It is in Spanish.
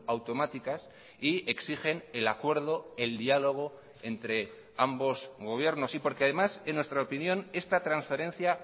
automáticas y exigen el acuerdo el diálogo entre ambos gobiernos y porque además en nuestra opinión esta transferencia